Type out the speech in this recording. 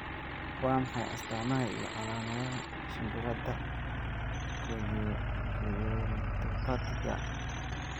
Waa maxay astamaha iyo calaamadaha shimbirada chorioretipatiga?